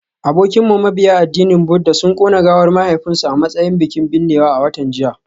Abokinmu mabiya addinin Buddah sun kona gawar mahaifinsu a matsayin bikin binnewa a watan jiya